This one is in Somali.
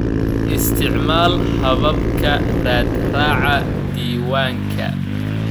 Isticmaal hababka raadraaca diiwaanka.